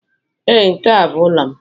Ee, nke a bụ ụlọ m.